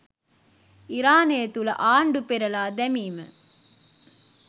ඉරානය තුළ ආණ්ඩු පෙරළා දැමීම